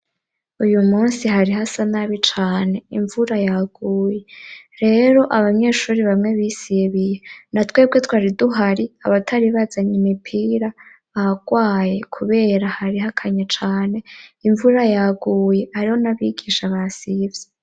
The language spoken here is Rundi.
Uyu munsi hari ha sanabi cane imvura yaguye rero abanyeshuri bamwe bisibiye na twebwe twari duhari abatari bazanye imipira bagwaye kubera hari hakanya cane imvura yaguye ariho n'abigisha basivye.